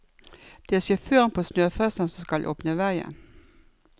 Det er sjåføren på snøfresen som skal åpne vegen.